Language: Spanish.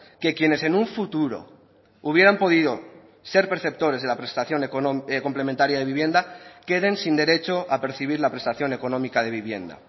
que quienes en un futuro hubieran podido ser perceptores de la prestación complementaria de vivienda queden sin derecho a percibir la prestación económica de vivienda